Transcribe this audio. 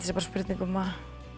sé bara spurning um að